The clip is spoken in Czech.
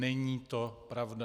Není to pravda.